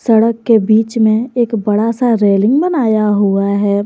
सड़क के बीच मे एक बड़ा सा रेलिंग बनाया हुआ है।